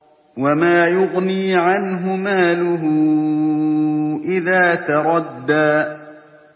وَمَا يُغْنِي عَنْهُ مَالُهُ إِذَا تَرَدَّىٰ